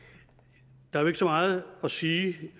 der er jo ikke så meget at sige